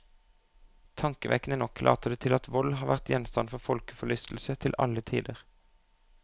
Tankevekkende nok later det til at vold har vært gjenstand for folkeforlystelse til alle tider.